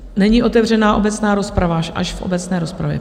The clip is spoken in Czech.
Není otevřena obecná rozprava, až v obecné rozpravě.